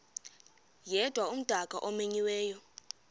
yedwa umdaka omenyiweyo